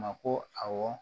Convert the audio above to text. Ma ko awɔ